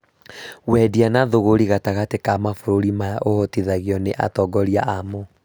Wendia na thũgũrĩ gatagatĩ ka mabũrũri maya ũhotithagio nĩ atongoria amo